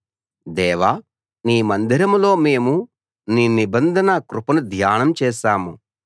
దేవా నీ మందిరంలో మేము నీ నిబంధన కృపను ధ్యానం చేశాం